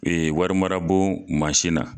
wari mara bon mansin na.